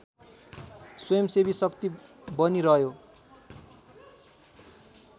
स्वयंसेवी शक्ति बनिरह्यो